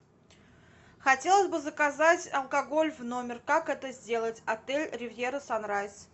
хотелось бы заказать алкоголь в номер как это сделать отель ривьера санрайз